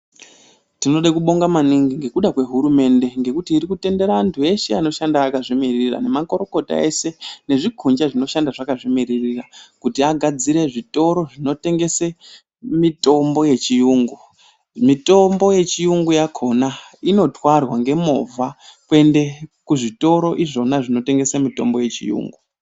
Tinode kubonga maningi ngekuda kwe hurumende ngekuti iri kutendera antu eshe anoshanda akazvi mirira nema kurukota eshe nezvi kunja zvino shanda zvakazvi miririra kuti agadzire zvitoro zvino tengese mitombo yechi yungu mitombo ye chiyungu yakona inotwarwa nge movha kuende ku zvitoro izvona zvino tengese mitombo ye chiyungu.